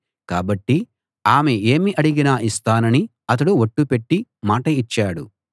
కాబట్టి ఆమె ఏమి అడిగినా ఇస్తానని అతడు ఒట్టు పెట్టి మాట ఇచ్చాడు